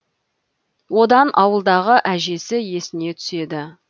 одан ауылдағы әжесі есіне түседі